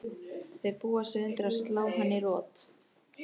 Þau búa sig undir að slá hann í rot.